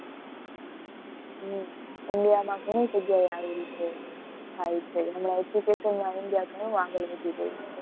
હમ India માં ઘણી જગ્યા એ આવી થાય છે. હમણાં education માં India ઘણું આગળ વધી ગયું છે.